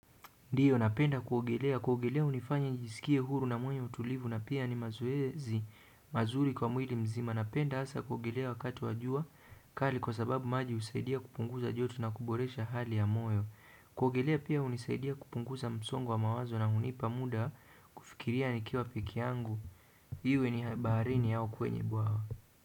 Ndiyo napenda kuogelea kuogelea hunifanya njisikie huru na mwenye utulivu na pia ni mazoezi mazuri kwa mwili mzima. Napenda hasa kuogelea wakati wa jua kali kwa sababu maji husaidia kupunguza joto na kuboresha hali ya moyo. Kuogelea pia hunisaidia kupunguza msongo wa mawazo na hunipa muda kufikiria ni kiwa peke yangu. Iwe ni baharini au kwenye bwawa.